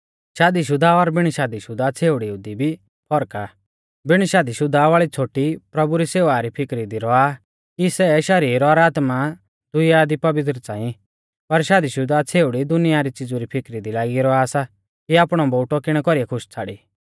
शादी शुदा और बिण शादी शुदा छ़ेवड़िउ दी भी फर्क आ बिण शादी शुदा वाल़ी छ़ोटी प्रभु री सेवा री फिकरी दी रौआ कि सै शरीर और आत्मा दी दुइया दी पवित्र च़ांई पर शादी शुदा वाल़ी छ़ेउड़ी दुनिया री च़िज़ु री फिकरी दी लागी रौआ सा कि आपणौ बोउटौ किणै कौरीऐ खुश छ़ाड़ी